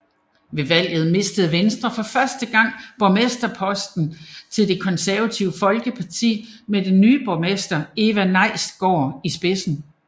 Ved valget mistede Venstre for første gang borgmesterposten til Det Konservative Folkeparti med den ny borgmester Eva Nejstgaard i spidsen